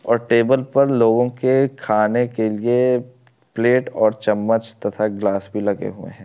और टेबल पर लोगों के खाने के लिए प्लेट और चम्मच तथा ग्लास भी लगे हुए है।